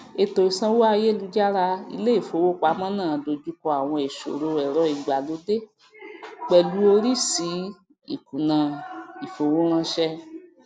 ètò ìsanwó ayélujára iléìfowópamọ náà dojú kọ àwọn ìṣòro ẹrọ ìgbàlódé pẹlú óríṣiríṣi ìkùnà ìfowóránsẹ